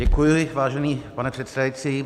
Děkuji, vážený pane předsedající.